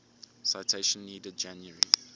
citation needed january